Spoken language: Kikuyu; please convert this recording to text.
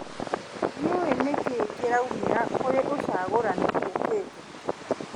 Ndiũĩ nĩ kĩ kĩraumĩra kũrĩ ũcagũrani ũkĩte.